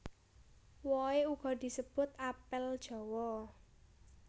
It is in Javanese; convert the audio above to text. Wohe uga disebut apel jawa